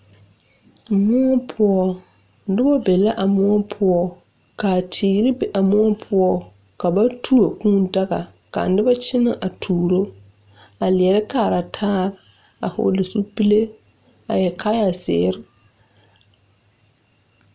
Moɔ poɔ nobɔ be la a moɔ poɔ kaa teere be a moɔ poɔ ka ba tuo kūū daga kaa nobɔ kyɛnɛ a tuuro a leɛrɛ kaara taa a hɔɔle zupile a yɛrevkaayɛ zeere.